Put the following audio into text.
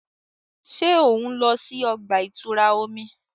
Ṣe o nlọ si ọgba-itura omi?